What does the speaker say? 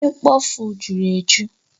Ihe mkpofu juru eju